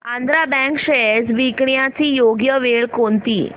Andhra bank shares विकण्याची योग्य वेळ कोणती